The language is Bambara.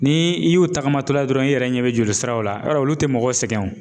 Ni i y'o tagamatɔla dɔrɔn i yɛrɛ ɲɛ bɛ jolisiraw la yɔrɔ olu tɛ mɔgɔw sɛgɛn o